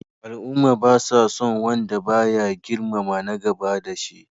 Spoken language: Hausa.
Al'umma ba sa son wanda ba ya girmama na gaba da shi.